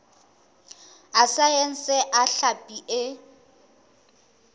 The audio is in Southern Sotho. a saense a hlapi e